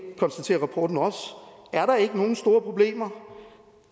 konstaterer rapporten også er der ikke nogen store problemer